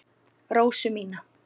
Rósu mína.